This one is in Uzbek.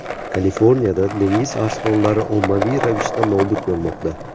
Kaliforniyada dengiz arslonlari ommaviy ravishda nobud bo‘lmoqda.